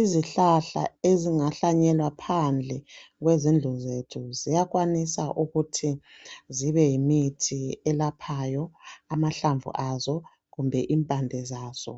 Izihlahla ezingahlanyelwa phandle kwezindlu zethu ziyakwanisa ukuthi zibe yimithi eyelaphayo amahlamvu azo kumbe impande zazo